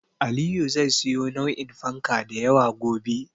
Aliyu zai siyo nau'in fanka da yawa gobe.